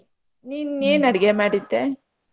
ನೀನ್ ಏನ್ ಅಡಿಗೆ ಮಾಡಿದ್ದೆ ?